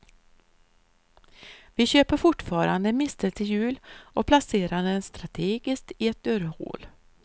Vi köper fortfarande en mistel till jul och placerar den strategiskt i ett dörrhål.